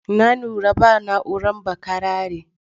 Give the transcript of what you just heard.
Na lura ba na'uran bakarare.